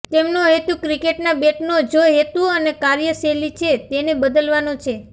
તેમનો હેતુ ક્રિકેટના બેટનો જો હેતુ અને કાર્યશૈલી છે તેને બદલવાનો છે